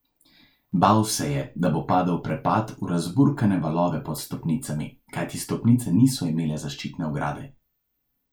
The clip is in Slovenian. Bal se je, da bo padel v prepad, v razburkane valove pod stopnicami, kajti stopnice niso imele zaščitne ograde.